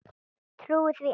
Trúir því enn.